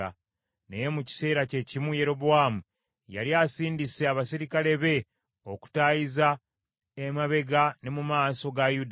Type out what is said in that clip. Naye mu kiseera kye kimu Yerobowaamu yali asindise abaserikale be okutaayiza emabega ne mu maaso ga Yuda.